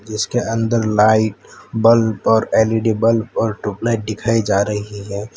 इसके अंदर light bulb और एल_ई_डी बल्ब और ट्यूबलाइट दिखाई जा रही है।